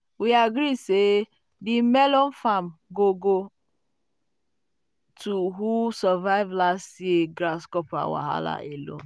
"we agree say di melon um farm go go to who um survive last year grasshopper wahala alone."